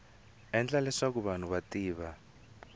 endla leswaku vanhu va tiva